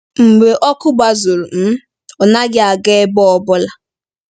Mgbe ọkụ gbazuru, um ọ naghị aga ebe ọ bụla.